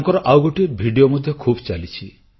ତାଙ୍କର ଆଉ ଗୋଟିଏ ଭିଡ଼ିଓ ମଧ୍ୟ ଖୁବ୍ ଚାଲିଛି